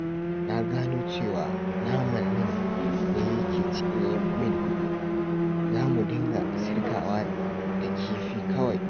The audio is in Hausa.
Na gano cewa naman nan ne yake cinye min kuɗi, za mu dinga sirkawa da kifi kawai